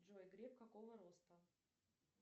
джой греф какого роста